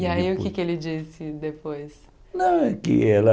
E aí o que é que ele disse depois? Não é que ela